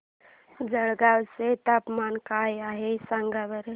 जळगाव चे तापमान काय आहे सांगा बरं